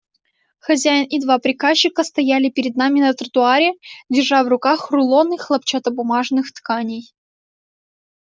хозяин и два приказчика стояли перед ними на тротуаре держа в руках рулоны хлопчатобумажных тканей